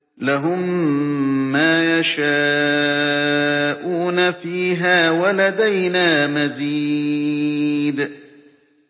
لَهُم مَّا يَشَاءُونَ فِيهَا وَلَدَيْنَا مَزِيدٌ